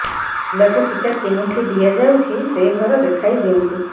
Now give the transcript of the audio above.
ପିଲାକୁ ଟିକା କେଉଁଠି ଦିଆଯାଉଛି ସେ ଘର ଦେଖାଇ ଦିଅନ୍ତୁ